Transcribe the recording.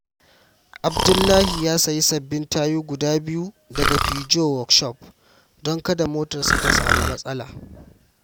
Abdullahi ya sayi sabbin tayu guda biyu daga Peugeaot Workshop don kada motarsa ta samu matsala.